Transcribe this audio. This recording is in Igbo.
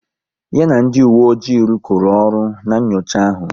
Ya na ndị uwe ojii rukoro ọrụ n'nyocha ahu